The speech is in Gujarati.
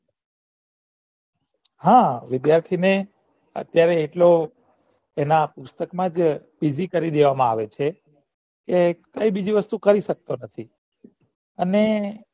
હા વિધ્યાથીને અત્યારે એના પુસ્તક મા જ બીજી કરી દેવામાં આવે છે કે બીજી વસ્તુ કરી સકતો નથી અને